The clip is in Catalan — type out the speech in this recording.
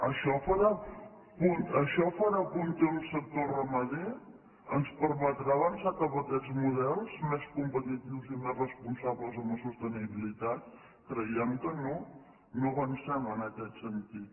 això farà punter un sector ramader ens permetrà avançar cap a aquests models més competitius i més responsables amb la sostenibilitat creiem que no no avancem en aquest sentit